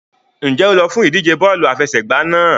Ǹjẹ́ o lọ fún ìdíje bọ́ọ̀lù àfẹsẹ̀gbá náà?